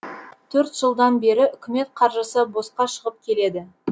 төрт жылдан бері үкімет қаржысы босқа шығып келеді